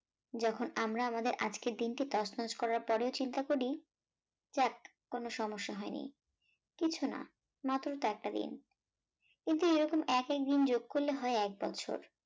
যখন আমরা আমাদের আজকের দিনটি তছনছ করার পরেও চিন্তা করি, যাক কোন সমস্যা হয়নি, কিছু না মাত্র তো একটা দিন, কিন্তু এরকম এক এক দিন যোগ করলে হয় এক বছর